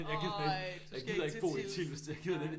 Ej du skal ikke til Tilst nej